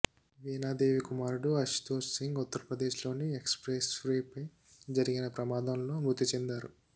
వీణాదేవి కుమారుడు అశుతోష్ సింగ్ ఉత్తరప్రదేశ్లోని నోయిడా ఎక్స్ప్రెస్వేపై జరిగిన ప్రమాదంలో మృతి చెందారు